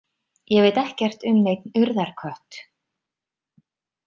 Ég veit ekkert um neinn Urðarkött.